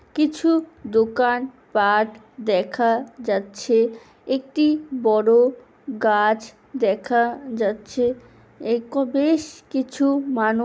কিছু দোকান পাট দেখা যাচ্ছে. । একটি বড় গাছ দেখা যাচ্ছে.। একো বেশ কিছু মানব--